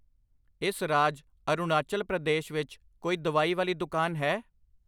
ਇਸ ਰਾਜ ਅਰੁਣਾਚਲ ਪ੍ਰਦੇਸ਼ ਵਿੱਚ ਕੋਈ ਦਵਾਈ ਵਾਲੀ ਦੁਕਾਨ ਹੈ?